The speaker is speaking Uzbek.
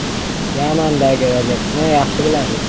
“Yamandagi vaziyatni yaxshi bilasiz.